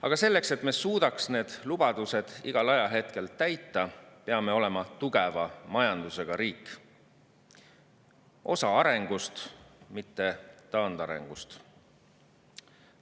Aga selleks, et me suudaks need lubadused igal ajahetkel täita, peame olema tugeva majandusega riik, osa arengust, mitte taandarengust.